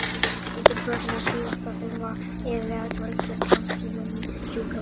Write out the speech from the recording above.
Lítil börn með kíghósta þurfa iðulega að dveljast langtímum á sjúkrahúsi.